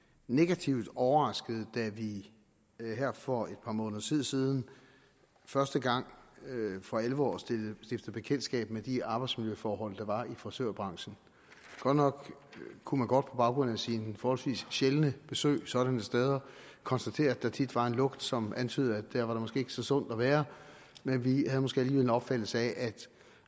negativt overrasket da vi her for et par måneders tid siden første gang for alvor stiftede bekendtskab med de arbejdsmiljøforhold der var i frisørbranchen godt nok kunne man godt på baggrund af sine forholdsvis sjældne besøg sådanne steder konstatere at der tit var en lugt som antydede at der var der måske ikke så sundt at være men vi havde måske alligevel en opfattelse af at